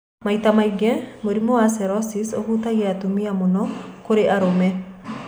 Maita maingĩ mũrimũ wa sclerosis ũhatagia atũmia mũno korĩ arimũ.